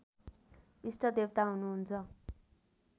इष्टदेवता हुनु हुन्छ